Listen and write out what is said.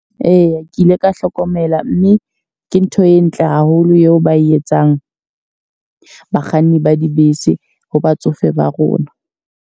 Eya, ke ile ka hlokomela mme ke ntho e ntle haholo eo ba e etsang bakganni ba dibese ho batsofe ba rona.